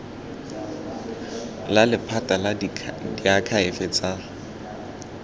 la lephata la diakhaefe tsa